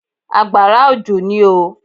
Àgbàrá òjò ní oo.